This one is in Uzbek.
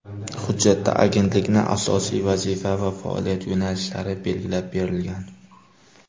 Hujjatda agentlikning asosiy vazifa va faoliyat yo‘nalishlari belgilab berilgan.